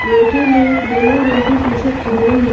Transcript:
लड़के ने येलो रंग की टी शर्ट पहनी है।